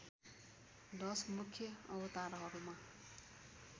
१० मुख्य अवतारहरूमा